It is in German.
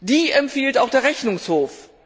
Die empfiehlt auch der Rechnungshof.